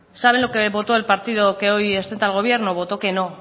saben lo que votó el partido que hoy sustenta al gobierno votó que no